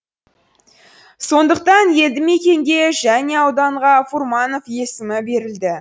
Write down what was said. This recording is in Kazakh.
сондықтан елді мекенге және ауданға фурманов есімі берілді